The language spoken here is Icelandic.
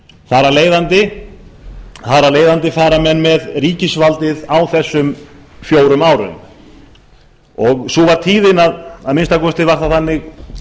á þar af leiðandi fara menn með ríkisvaldið á þessum fjórum árum sú var tíðin að minnsta kosti var það þannig